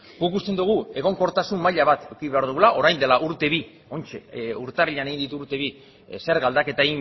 guk uste dugu egonkortasun maila bat eduki behar dugula orain dela urte bi oraintxe urtarrilean egin ditu urte bi zerga aldaketa